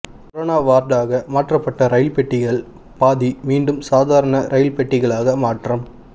corona வார்டாக மாற்றப்பட்ட rail பெட்டிகளில் பாதி மீண்டும் சாதாரண ரயில் பெட்டிகளாக மாற்றம்